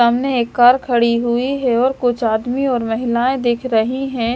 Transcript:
सामने एक कार खड़ी हुई है और कुछ आदमी और महिलाएं दिख रही है।